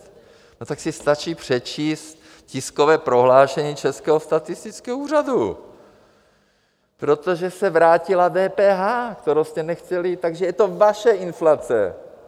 Tak si stačí přečíst tiskové prohlášení Českého statistického úřadu: protože se vrátila DPH, kterou jste nechtěli, takže je to vaše inflace!